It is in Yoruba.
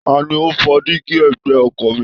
Ta ni ó fọ́ díígí ẹ̀gbẹ́ ọkọ̀ mi